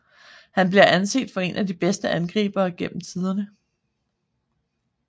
Han bliver anset for én af de bedste angribere gennem tiderne